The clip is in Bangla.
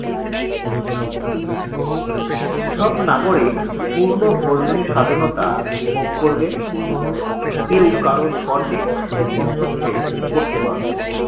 সব নাগরিক পূর্ণ ধর্মীয় স্বাধীনতা ভোগ করবে কেউ কারোর ধর্মে হস্তক্ষেপ করতে পারবে না।